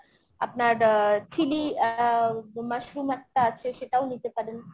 আপনার আ chili আহ mushroom একটা আছে সেটাও নিতে পারেন।